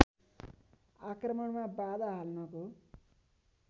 आक्रमणमा बाधा हाल्नको